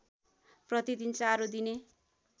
प्रतिदिन चारो दिने